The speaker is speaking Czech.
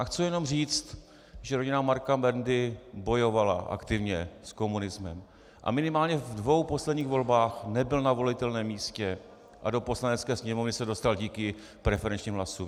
A chci jenom říct, že rodina Marka Bendy bojovala aktivně s komunismem a minimálně ve dvou posledních volbách nebyl na volitelném místě a do Poslanecké sněmovny se dostal díky preferenčním hlasům.